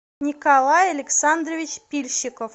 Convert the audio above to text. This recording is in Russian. николай александрович пильщиков